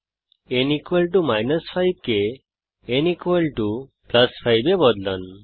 n 5 কে n 5 এ বদলান